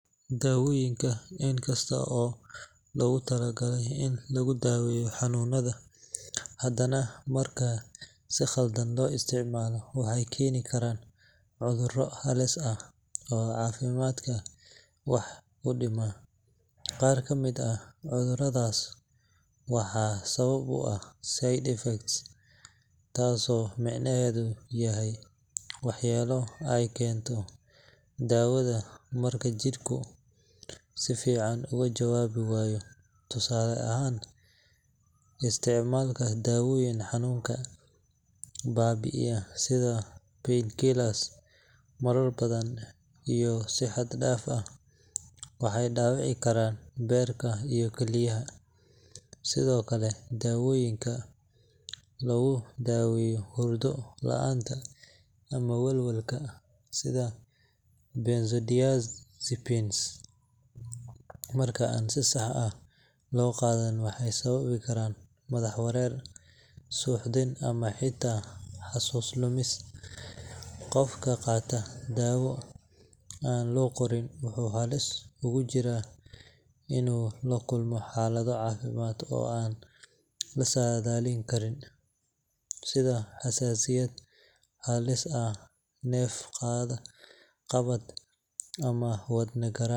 Daawooyinka, inkasta oo loogu talagalay in lagu daaweeyo xanuunada, haddana marka si khaldan loo isticmaalo waxay keeni karaan cudurro halis ah oo caafimaadka wax u dhima. Qaar ka mid ah cudurradaas waxaa sabab u ah side effects, taasoo micnaheedu yahay waxyeelo ay keento daawadu marka jidhku si fiican uga jawaabi waayo. Tusaale ahaan, isticmaalka daawooyinka xanuunka baabi’iya sida painkillers marar badan iyo si xad dhaaf ah waxay dhaawici karaan beerka iyo kilyaha. Sidoo kale, daawooyinka lagu daweeyo hurdo la’aanta ama welwelka, sida benzodiazepines, marka aan si sax ah loo qaadan waxay sababi karaan madax wareer, suuxdin ama xitaa xasuus lumis. Qofka qaata daawo aan loo qorin wuxuu halis ugu jiraa inuu la kulmo xaalado caafimaad oo aan la saadaalin karin, sida xasaasiyad halis ah, neef-qabad ama wadne garaac.